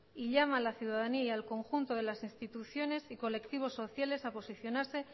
y llama a la ciudadanía y al conjunto de las instituciones y colectivos sociales a posicionarse